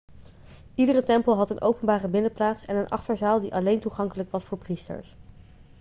iedere tempel had een openbare binnenplaats en een achterzaal die alleen toegankelijk was voor priesters